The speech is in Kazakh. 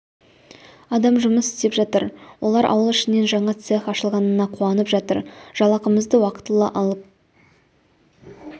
адам жұмыс істеп жатыр олар ауыл ішінен жаңа цех ашылғанына қуанып жатыр жалақымызды уақытылы алып